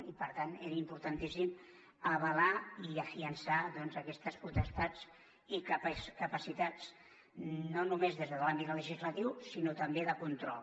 i per tant era importantíssim avalar i refermar aquestes potestats i capacitats no només des de l’àmbit legislatiu sinó també de control